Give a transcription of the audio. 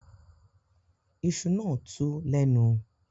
Iṣu náà tú lẹ́nu